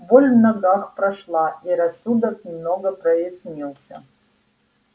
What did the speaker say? боль в ногах прошла и рассудок немного прояснился